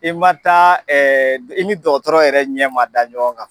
I ma taa i ni dɔgɔtɔrɔ yɛrɛ ɲɛ ma da ɲɔgɔn kan